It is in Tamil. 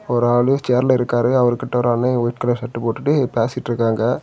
ஒரு ஆளு சேர்ல இருக்காரு அவர்கிட்ட ஒரு ஆளு ஒயிட் கலர் ஷர்ட் போட்டுட்டு பேசிட்ருக்காங்க.